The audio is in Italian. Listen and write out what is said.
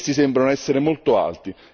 Essi sembrano essere molto alti.